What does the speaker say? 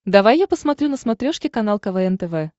давай я посмотрю на смотрешке канал квн тв